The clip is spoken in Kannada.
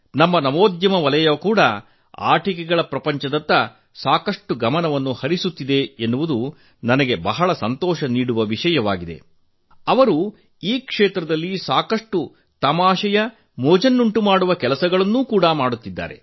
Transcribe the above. ನಮ್ಮ ನವೋದ್ಯಮ ವಲಯ ಕೂಡಾ ಆಟಿಕೆಗಳ ಪ್ರಪಂಚದತ್ತ ಸಾಕಷ್ಟು ಗಮನ ಹರಿಸುತ್ತಿದೆ ಎನ್ನುವುದು ನನಗೆ ಇಷ್ಟದ ಸಂಗತಿಯಾಗಿದೆ ಅವರು ಈ ಕ್ಷೇತ್ರದಲ್ಲಿ ಸಾಕಷ್ಟು ತಮಾಷೆಯ ಕೆಲಸಗಳನ್ನು ಕೂಡಾ ಮಾಡುತ್ತಿದ್ದಾರೆ